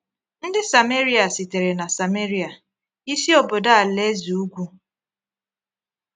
Ndị Sameria sitere na Samaria, isi obodo alaeze ugwu.